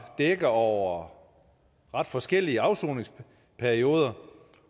dækker over ret forskellige afsoningsperioder